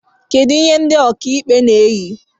Kedu ihe ndị okaikpe na-eyi